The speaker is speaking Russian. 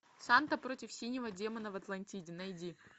санта против синего демона в атлантиде найди